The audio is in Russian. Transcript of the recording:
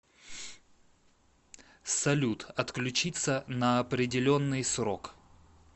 салют отключиться на определенный срок